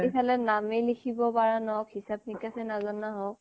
ইফালে নামেই লিখিব পৰা নহওঁক হিচাপ নিকাছেই নজনা হওঁক